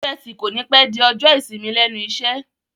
Ọjọ́ ẹtì kònípẹ́ di ọjọ́ ìsinmi lẹ́nu iṣẹ́